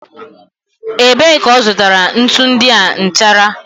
Ebee ka ọ zụtara ntu ndị a nchara?